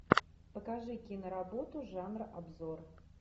покажи киноработу жанра обзор